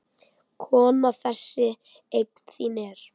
Kona þessi eign þín er.